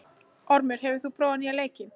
Ormur, hefur þú prófað nýja leikinn?